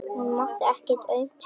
Hún mátti ekkert aumt sjá.